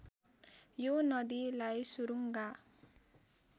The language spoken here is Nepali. यो नदीलाई सुरूङ्गा